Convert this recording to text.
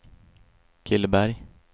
Killeberg